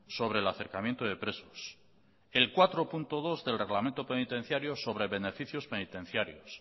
sobre el acercamiento de presos el cuatro punto dos del reglamento penitenciario sobre beneficios penitenciarios